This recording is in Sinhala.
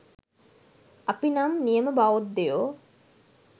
අපි නම් නියම බෞද්ධයෝ